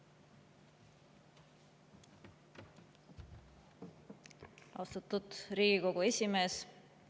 Austatud Riigikogu esimees!